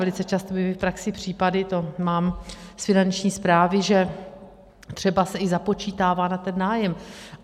Velice často byly v praxi případy, to mám z Finanční správy, že třeba se i započítává na ten nájem.